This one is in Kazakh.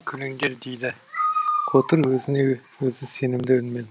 күліңдер күліңдер дейді қотыр өзіне өзі сенімді үнмен